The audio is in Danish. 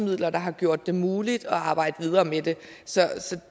der har gjort det muligt at arbejde videre med det så